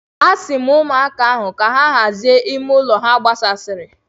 Asi m ụmụaka ahụ ka ha hazie ime ụlọ ha gbasasịrị.